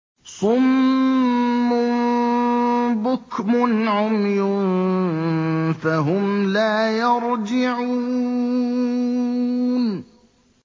صُمٌّ بُكْمٌ عُمْيٌ فَهُمْ لَا يَرْجِعُونَ